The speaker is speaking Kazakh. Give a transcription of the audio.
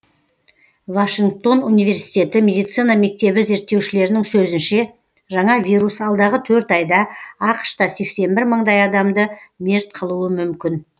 вашингтон университеті медицина мектебі зерттеушілерінің сөзінше жаңа вирус алдағы төрт айда ақш та сексен бір мыңдай адамды мерт қылуы мүмкін